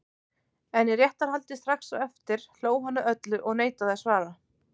En í réttarhaldi strax á eftir hló hann að öllu og neitaði að svara.